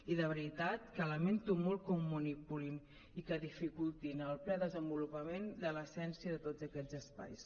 i de veritat que lamento molt que ho manipulin i que dificultin el ple desenvolupament de l’essència de tots aquests espais